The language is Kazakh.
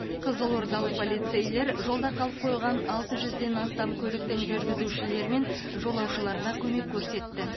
қызылордалық полицейлер жолда қалып қойған алты жүзден астам көліктің жүргізушілері мен жолаушыларына көмек көрсетті